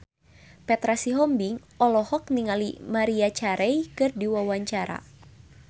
Petra Sihombing olohok ningali Maria Carey keur diwawancara